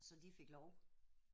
Så de fik lov